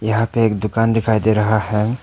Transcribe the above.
यहां पे एक दुकान दिखाई दे रहा है।